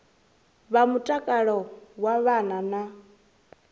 vha mutakalo wa vhana na